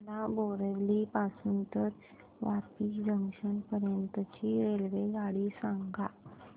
मला बोरिवली पासून तर वापी जंक्शन पर्यंत ची रेल्वेगाडी सांगा